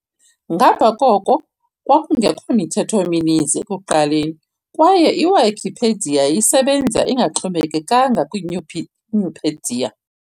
Ngapha koko, kwakungekho mithetho mininzi ekuqaleni kwaye iWikipedia yayisebenza ingaxhomekekanga kwiNupedia.